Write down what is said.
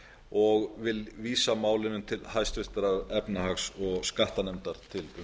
og vil vísa málinu til háttvirtrar efnahags og skattanefndar til